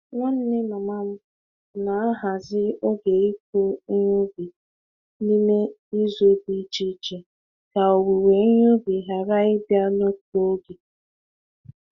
Nwanne mama m na-ahazi oge ịkụ ihe ubi n'ime izu dị iche iche ka owuwe ihe ubi ghara ịbịa n'otu oge.